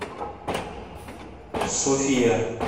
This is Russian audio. софия